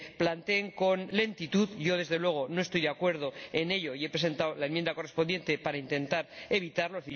se planteen con lentitud, aunque yo, desde luego, no estoy de acuerdo y he presentado la enmienda correspondiente para intentar evitarlo.